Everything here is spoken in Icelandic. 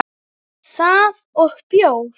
Það og bjór.